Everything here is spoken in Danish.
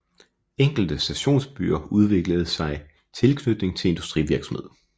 Enkelte stationsbyer udvikledes sig i tilknytning til industrivirksomhed